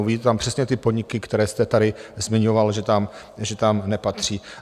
Uvidíte tam přesně ty podniky, které jste tady zmiňoval, že tam nepatří.